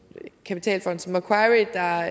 kapitalfond som macquarie der